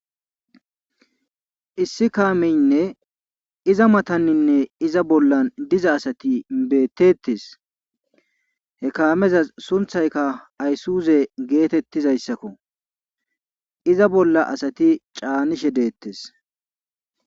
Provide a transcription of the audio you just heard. Issi kaamene iza mataninne iza bolla diza asati betetees. he kaamezas sunththaykka aysuze geetetizaysakko. iza bola asati caanishe detees.